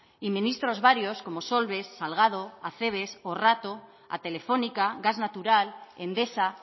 y ministros varios como solves salgado acebes o rato a telefónica gas natural endesa